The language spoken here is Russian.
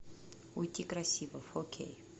уйти красиво фо кей